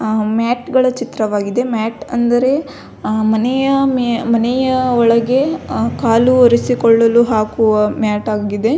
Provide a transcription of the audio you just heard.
ಆ ಮ್ಯಾಟ್ ಗಳ ಚಿತ್ರವಾಗಿದೆ ಮ್ಯಾಟ್ ಅಂದರೆ ಮನೆಯ ಮೆ ಮನೆಯ ಒಳಗೆ ಕಾಲು ಒರೆಸಿಕೊಳ್ಳಲು ಹಾಕುವ ಮ್ಯಾಟ್ ಆಗಿದೆ.